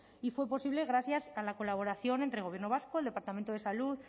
y fue posible gracias a la colaboración entre gobierno vasco el departamento de salud